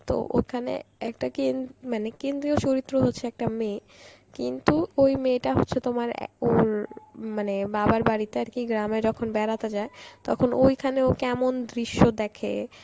তো ওখানে একটা কেন~ মানে কেন্দ্রীয় চরিত্র রয়েছে একটা মেয়ে কিন্তু ওই মেয়েটা হচ্ছে তোমার অ্যাঁ উম মানে বাবার বাড়িতে আর কি গ্রামে যখন বেড়াতে যায় তখন ওইখানে ও কেমন দৃশ্য দেখে এমন দৃশ্য ওইখানে ও কেমন দৃশ্য দেখে